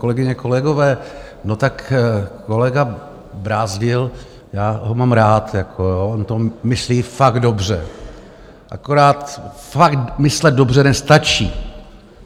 Kolegyně, kolegové, no, tak kolega Brázdil - já ho mám rád, on to myslí fakt dobře, akorát fakt myslet dobře nestačí.